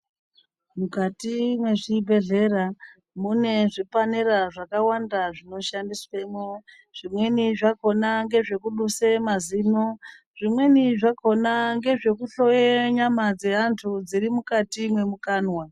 Mukati mwe zvibhedhlera mune zvipanera zvaka wanda zvino shandiswemo zvimweni zvakona ngezve kuduse mazino zvimweni zvakona ngezveku hloye nyama dze antu dziri mukati mwe mukanwa.